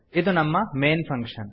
ಇದು ನಮ್ಮ main function